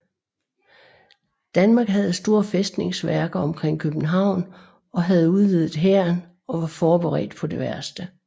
Danmark havde store fæstningsværker omkring København og havde udvidet hæren og var forberedt på det værste